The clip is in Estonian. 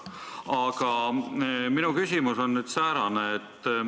Aga minu küsimus on säärane.